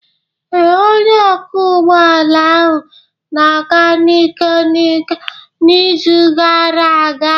Ee, onye ọkwọ ụgbọ ala ahụ na-aga n'ike n'ike n'izu gara aga.